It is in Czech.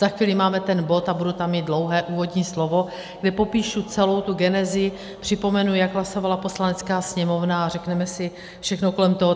Za chvíli máme ten bod a budu tam mít dlouhé úvodní slovo, kde popíšu celou tu genezi, připomenu, jak hlasovala Poslanecká sněmovna, a řekneme si všechno kolem toho.